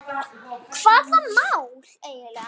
Hvaða mál?